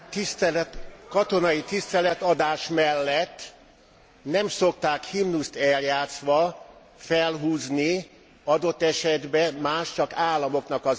Katonai tiszteletadás mellett nem szokták himnuszt eljátszva felhúzni, adott esetben, más államoknak a zászlaját.